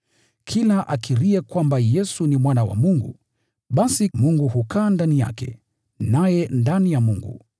Kila akiriye kwamba Yesu ni Mwana wa Mungu, basi Mungu hukaa ndani yake, naye ndani ya Mungu.